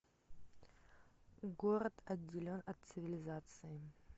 город отделен от цивилизации